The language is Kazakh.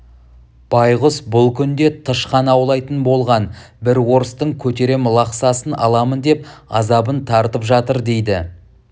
байғұс бұл күнде тышқан аулайтын болған бір орыстың көтерем лақсасын аламын деп азабын тартып жатыр дейді